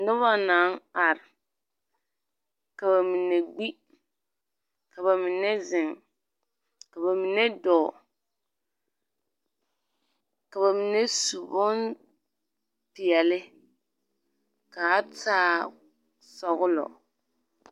Noba naŋ are, ka bamine gbi, ka ba mine zeŋ, ka ba mine dɔɔ, ka ba mine su bompeɛle ka a taa sɔgelɔ.